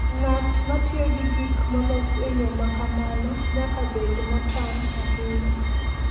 Ng'at ma tiyo gi gik molos e yo ma kamano nyaka bed motang' ahinya.